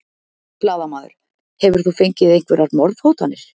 Blaðamaður: Hefur þú fengið einhverjar morðhótanir?